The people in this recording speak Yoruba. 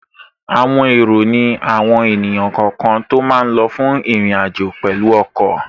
Àwọn èrò ní àwọn èèyàn kọ̀ọ̀kan tó máa lọ fún ìrìnàjò pẹ̀lú ọkọ̀